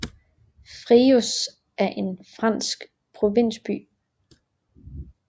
Fréjus er en stor fransk provinsby